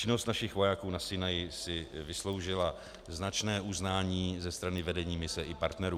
Činnost našich vojáků na Sinaji si vysloužila značné uznání ze strany vedení mise i partnerů.